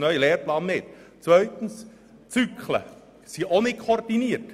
Das wird auch mit dem neuen Lehrplan nicht harmonisiert.